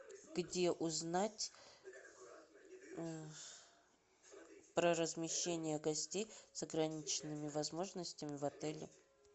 где узнать про размещение гостей с ограниченными возможностями в отеле